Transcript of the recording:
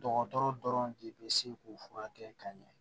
Dɔgɔtɔrɔ dɔrɔn de bɛ se k'u furakɛ ka ɲɛ